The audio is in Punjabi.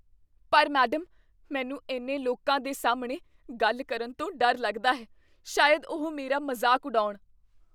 ਪਰ ਮੈਡਮ, ਮੈਨੂੰ ਇੰਨੇ ਲੋਕਾਂ ਦੇ ਸਾਹਮਣੇ ਗੱਲ ਕਰਨ ਤੋਂ ਡਰ ਲੱਗਦਾ ਹੈ। ਸ਼ਾਇਦ ਉਹ ਮੇਰਾ ਮਜ਼ਾਕ ਉਡਾਉਣ।